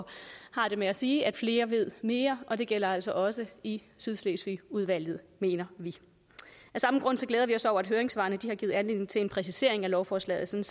har det med at sige at flere ved mere og det gælder altså også i sydslesvigudvalget mener vi af samme grund glæder vi os over at høringssvarene har givet anledning til en præcisering af lovforslaget